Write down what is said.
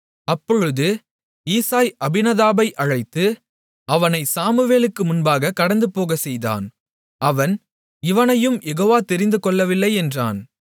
அப்பொழுது ஈசாய் அபினதாபை அழைத்து அவனைச் சாமுவேலுக்கு முன்பாகக் கடந்துபோகச்செய்தான் அவன் இவனையும் யெகோவா தெரிந்து கொள்ளவில்லை என்றான்